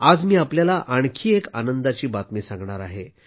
आज मी आपल्याला एक आणखी आनंदाची बातमी सांगणार आहे